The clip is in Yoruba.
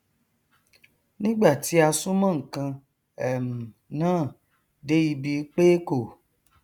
nígbà tí a súnmọ nkan um náà dé ibi pé kò